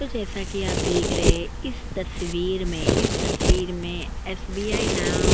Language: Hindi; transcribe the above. तो जैसा कि आप देख रहे हैं इस तस्वीर में इस तस्वीर में एसबीआई ना --